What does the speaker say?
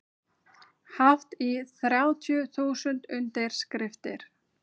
Hátt í þrjátíu þúsund undirskriftir